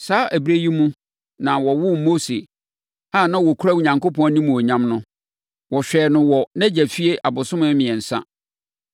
“Saa ɛberɛ yi mu na wɔwoo Mose a na ɔkura Onyankopɔn animuonyam no. Wɔhwɛɛ no wɔ nʼagya efie abosome mmiɛnsa,